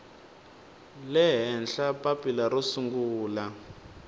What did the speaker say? le henhla papila ro sungula